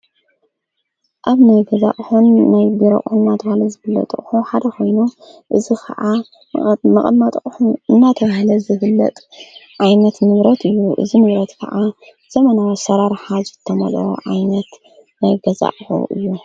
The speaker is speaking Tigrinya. ኣብ ነይ ገዛእሆን ናይ ቢሮኦን ኣተሃለ ዘብለጠቕሑ ሓደ ኾይኑ እዝ ኸዓ መቐማጥቕሑ እናተውህለ ዘብለጥ ዓይነት ምልሮት እዩ እዝ ምረት ከዓ ዘመናዊ ሠራርሓ ዘተመል ዓይነት ናይገዛዕሑ እዩ።